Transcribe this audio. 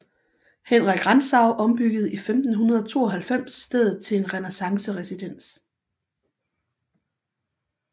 Henrik Rantzau ombyggede i 1592 stedet til en renæssanceresidens